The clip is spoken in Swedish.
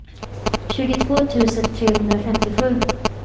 tjugotvå tusen trehundrafemtiosju